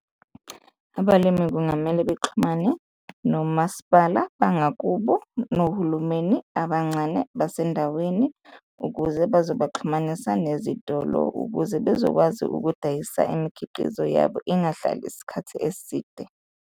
Abalimi kungamele bexhumane nomasipala wangakubo nohulumeni abancane basendaweni ukuze bazobaxhumanisa nezitolo ukuze bezokwazi ukudayisa imikhiqizo yabo, ingahlali isikhathi eside.